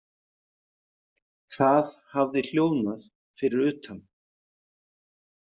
Það hafði hljóðnað fyrir utan.